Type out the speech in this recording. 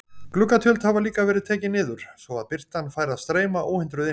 Gluggatjöld hafa líka verið tekin niður, svo að birtan fær að streyma óhindruð inn.